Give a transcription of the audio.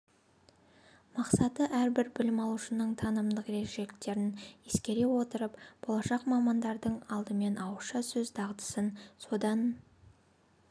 мақсаты әрбір білім алушының танымдық ерекшеліктерін ескере отырып болашақ мамандардың алдымен ауызша сөз дағдысын содан